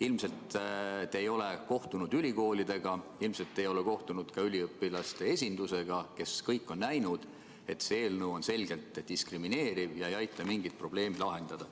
Ilmselt ei ole te kohtunud ülikoolidega, ilmselt ei ole te kohtunud üliõpilaste esindusega, kes kõik on näinud, et see eelnõu on selgelt diskrimineeriv ega aita mingit probleemi lahendada.